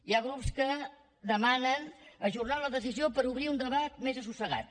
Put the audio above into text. hi ha grups que demanen ajornar la decisió per obrir un debat més assossegat